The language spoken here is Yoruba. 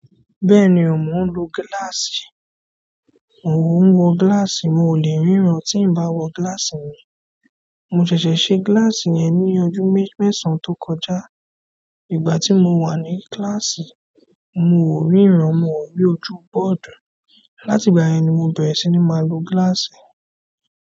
Bẹ́ẹ̀ni mò ń lo gíláàsì, mò ń wọ gíláàsì, moò lè ríran tí n bá wọ gíláàsì mi. Mo ṣẹ̀ṣẹ̀ ṣe gíláàsì yẹn ní ọjọ́ mẹ́sàn án tó kọjá. Ìgbà tí mo wà ní kíláàsì, mi ò ríran, mi ò rí ojú bọ́ọ̀dù. Láti ìgbà yẹn ni mo bẹ̀rẹ̀ sí ní máa lo gíláàsì.